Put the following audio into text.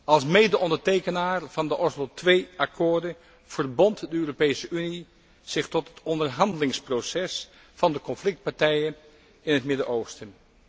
Als medeondertekenaar van de Oslo II akkoorden verbond de Europese Unie zich tot het onderhandelingsproces van de conflictpartijen in het Midden Oosten.